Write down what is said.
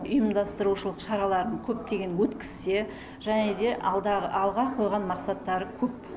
ұйымдастырушылық шараларын көптеген өткізсе және де алға қойған мақсаттары көп